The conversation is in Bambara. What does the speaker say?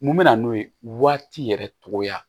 Mun bɛ na n'o ye waati yɛrɛ cogoya